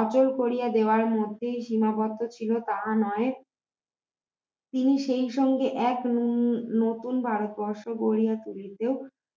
অচল করিয়া দেওয়ার মধ্যে যে মহত্ত্ব ছিল তাহা নয় তিনি সেই সঙ্গে এক ন নতুন ভারত বর্ষ গড়িয়া তুলিতে